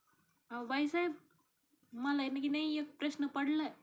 अव बाईसाहेब मला की नाही एक प्रश्न पडलाय